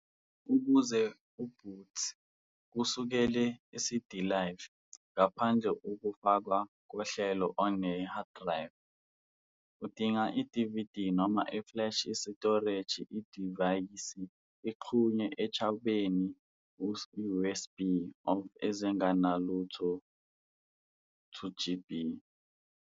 Ukuze Boot kusukela CD Live, ngaphandle ukufakwa kohlelo on the hard drive, udinga DVD noma flash isitoreji idivayisi ixhunywe echwebeni USB of ezingenalutho 2 GB.